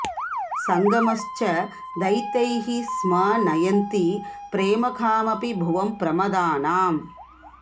संगमश् च दयितैः स्म नयन्ति प्रेम कामपि भुवं प्रमदानाम्